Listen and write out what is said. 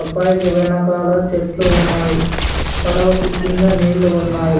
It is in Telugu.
అబ్బాయికి వెనకాల చెట్లు ఉన్నాయ్ పడవకి కింద నీళ్లు ఉన్నాయ్.